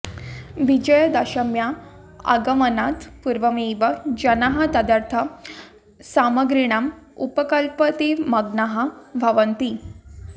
विजयादशम्या आगमनात् पूर्वमेव जनाः तदर्थं सामग्रीणाम् उपकल्पने मग्नाः भवन्ति